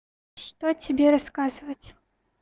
что тебе рассказывать